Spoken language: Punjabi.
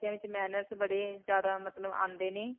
ਵਿੱਚ manners ਬੜੇ ਜਿਆਦਾ ਮਤਲਬ ਆਉਂਦੇ ਨੇ